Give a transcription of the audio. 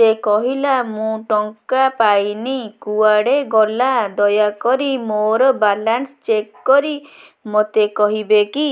ସେ କହିଲା ମୁଁ ଟଙ୍କା ପାଇନି କୁଆଡେ ଗଲା ଦୟାକରି ମୋର ବାଲାନ୍ସ ଚେକ୍ କରି ମୋତେ କହିବେ କି